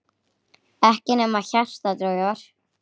Ekkert nema hjarta dugar.